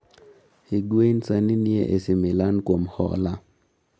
Higuain sani ni e AC Milan kuom hola